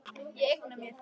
Ég eigna mér þig.